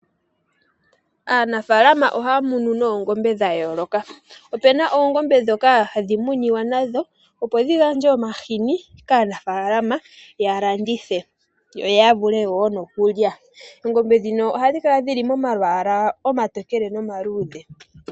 Aanafaalama ohaya munu noongombe dha yooloka. Opuna oongombe ndhoka hadhi muniwa nadho opo dhi gandje omahini kaanafaalama ya landithe, yo ya vule wo nokulya. Oongombe ndhino ohadhi kala dhili momalwaala omatokele noma luudhe.